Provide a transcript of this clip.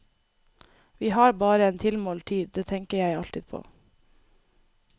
Vi har bare en tilmålt tid, det tenker jeg alltid på.